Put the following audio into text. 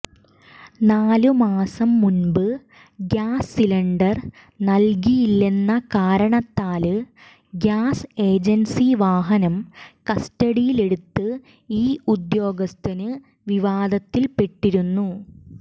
നാല് മാസം മുന്പ് ഗ്യാസ് സിലിണ്ടര് നല്കിയില്ലെന്ന കാരണത്താല് ഗ്യാസ് ഏജന്സി വാഹനം കസ്റ്റഡിയില് എടുത്ത് ഈ ഉദ്യോഗസ്ഥന് വിവാദത്തില്പ്പെട്ടിരുന്നു